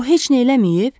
O heç nə eləməyib?